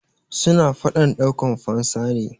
suna fadan daukan fansa ne